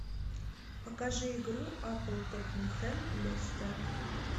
покажи игру апл тоттенхэм лестер